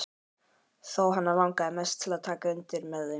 Þó hana langi mest til að taka undir með þeim.